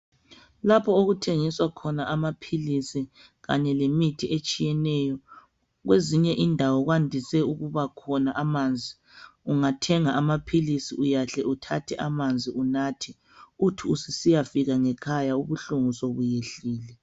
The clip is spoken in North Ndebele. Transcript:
Lapho okuthengiswa khona amaphilisi Kanye lemithi etshiyeneyo. Kwezinye indawo kwande ukubakhona lamanzi. Ungathenga amaphilisi, uhle uthathe ananzi unathe. Uthi ususiyafika ngekhaya, ubuhlungu sebehlile.